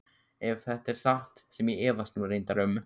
Ef þetta er satt sem ég efast nú reyndar um.